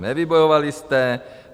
Nevybojovali jste.